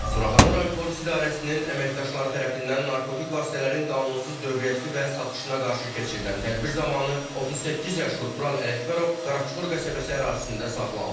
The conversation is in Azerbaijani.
Suraxanı rayon Polis İdarəsinin əməkdaşları tərəfindən narkotik vasitələrin qanunsuz dövriyyəsi və satışına qarşı keçirilən tədbir zamanı 38 yaşlı Tural Ələkbərov Qaraçuxur qəsəbəsi ərazisində saxlanılıb.